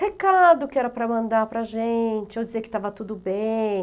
Recado que era para mandar para a gente, ou dizer que estava tudo bem.